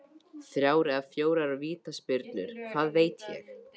Þrjár eða fjórar vítaspyrnur, hvað veit ég?